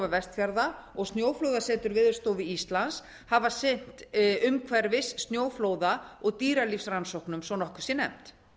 vestfjarða og snjóflóðasetur veðurstofu íslands hafa sinnt umhverfis snjóflóða og dýralífsrannsóknum svo að nokkuð sé nefnt